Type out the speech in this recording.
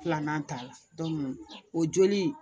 Filanan ta la o joli